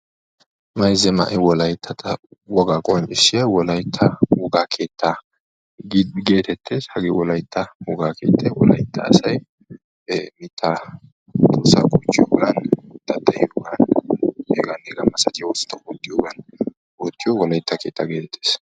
Mayza ma'ee wolaytta wogaa qonccisiyaa wolaytta wogaa keettaa geetettes. hagee wolaytta wogaa keettay wolaytta asay ee miittaa tuussaa goochchiyoogan ba keettaa geetettees. hegaanne hegaa misatiyaa oosuwaa ootiyoogan